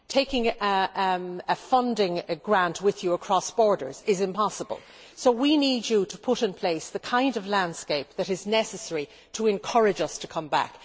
Taking a funding grant with them across borders is impossible so they need us to put in place the kind of landscape that is necessary to encourage them to come back.